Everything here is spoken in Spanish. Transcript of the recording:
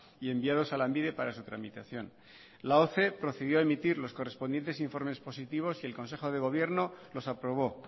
y enviados a lanbide para su tramitación la procedió a emitir los correspondientes informes positivos y el consejo de gobierno los aprobó